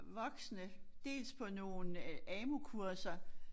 Voksne dels på nogle øh AMU kurser